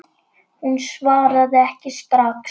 Hún svaraði ekki strax.